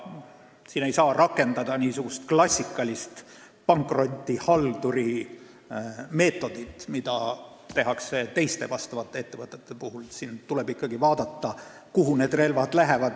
Siis ei saa rakendada klassikalist pankrotihalduri meetodit, mida tehakse teiste ettevõtete puhul – tuleb ikkagi vaadata, kuhu need relvad lähevad.